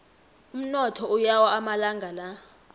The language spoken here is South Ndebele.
umnotho uyawa amalanga la